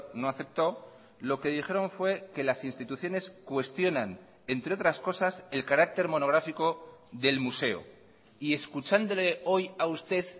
no aceptó lo que dijeron fue que las instituciones cuestionan entre otras cosas el carácter monográfico del museo y escuchándole hoy a usted